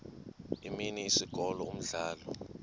imini isikolo umdlalo